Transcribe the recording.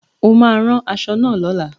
O máa ran aṣọ náà lóla